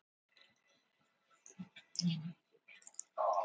Best væri reyndar að loka mygluholunni alveg.